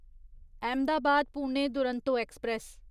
Ahmedabad Pune Duronto express